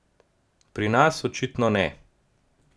Pri nas očitno ne.